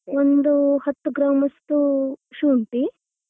ಒಂದು ಹತ್ತು ಗ್ರಾಂ ಅಷ್ಟು ಶುಂಠಿ.